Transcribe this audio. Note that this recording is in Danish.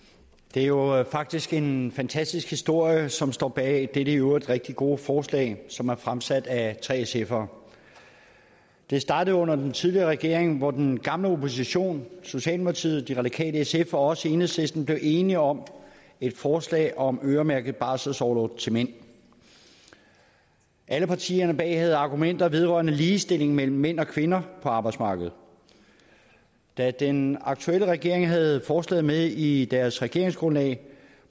er jo faktisk en fantastisk historie som står bag dette i øvrigt rigtig gode forslag som er fremsat af tre sfere det startede under den tidligere regering hvor den gamle opposition socialdemokratiet de radikale sf og os i enhedslisten blev enige om et forslag om øremærket barselsorlov til mænd alle partierne bag havde argumenter vedrørende ligestilling mellem mænd og kvinder på arbejdsmarkedet da den aktuelle regering havde forslaget med i deres regeringsgrundlag